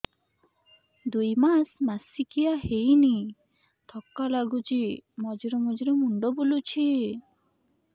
ଦୁଇ ମାସ ମାସିକିଆ ହେଇନି ଥକା ଲାଗୁଚି ମଝିରେ ମଝିରେ ମୁଣ୍ଡ ବୁଲୁଛି